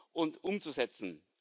und umzusetzen.